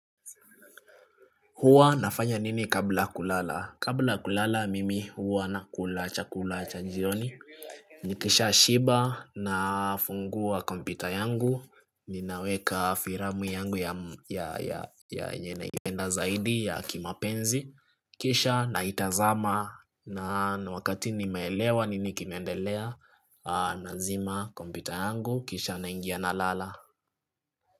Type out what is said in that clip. Huwa nafanya nini kabla kulala? Kabla kulala mimi huwa nakula chakula cha jioni Nikishashiba nafungua kompyuta yangu, ninaweka firamu yangu ya yenye ina zaidi ya kimapenzi Kisha naitazama na wakati nimeelewa nini kinaendelea nazima kompyuta yangu, kisha naingia nalala.